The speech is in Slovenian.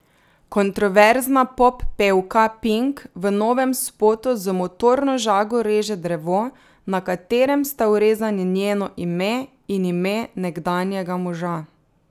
Kontroverzna poppevka Pink v novem spotu z motorno žago reže drevo, na katerem sta vrezani njeno ime in ime nekdanjega moža.